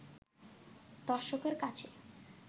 দর্শকের কাছেও